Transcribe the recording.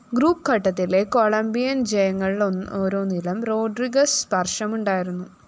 group ഘട്ടത്തിലെ Colombian‍ ജയങ്ങളിലോരോന്നിലും Rodriguez സ്പര്‍ശമുണ്ടായിരുന്നു